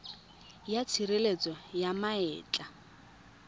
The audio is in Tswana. ya tshireletso ya ma etla